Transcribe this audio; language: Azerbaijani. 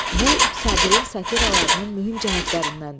Bu Sabirin satiralarının mühüm cəhətlərindəndir.